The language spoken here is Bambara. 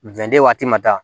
Wende waati ma